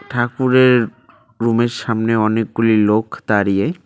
ঠাকুরের রুম -এর সামনে অনেকগুলি লোক দাঁড়িয়ে।